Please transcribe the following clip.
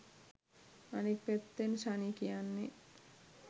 අනිත් පැත්තෙන් ශනි කියන්නේ